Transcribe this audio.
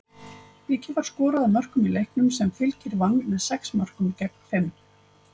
Mikið var skorað af mörkum í leiknum, sem Fylkir vann með sex mörkum gegn fimm.